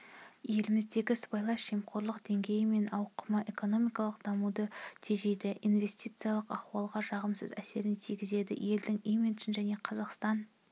еліміздегі сыбайлас жемқорлық деңгейі мен ауқымы экономикалық дамуды тежейді инвестициялық ахуалға жағымсыз әсерін тигізеді елдің имиджін және қазақстан